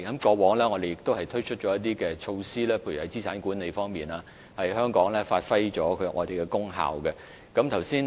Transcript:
過往，我們推出了一些措施，例如在資產管理方面，發揮了香港的功效。